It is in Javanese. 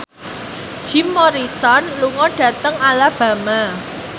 Jim Morrison lunga dhateng Alabama